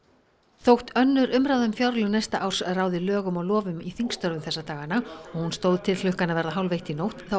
þótt önnur umræða um fjárlög næsta árs ráði lögum og lofum í þingstörfum þessa dagana og hún stóð til klukkan að verða hálfeitt í nótt þá